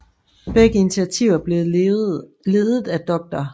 Begge initiativer blev ledet af dr